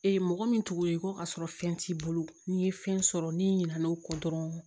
Ee mɔgɔ min tugulen ko ka sɔrɔ fɛn t'i bolo n'i ye fɛn sɔrɔ n'i ɲinɛna' o kɔ dɔrɔn